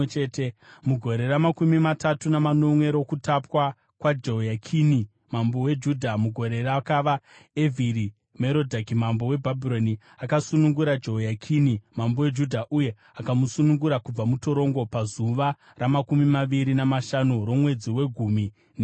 Mugore ramakumi matatu namanomwe rokutapwa kwaJehoyakini mambo weJudha, mugore rakava Evhiri-Merodhaki mambo weBhabhironi, akasunungura Jehoyakini mambo weJudha, uye akamusunungura kubva mutorongo pazuva ramakumi maviri namashanu romwedzi wegumi nemiviri.